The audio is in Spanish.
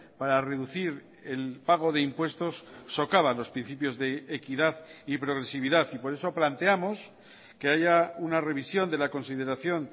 para reducir el pago de impuestos socava los principios de equidad y progresividad y por eso planteamos que haya una revisión de la consideración